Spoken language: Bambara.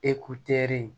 E ku teri